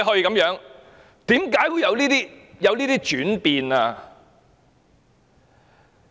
為何會有這樣的轉變？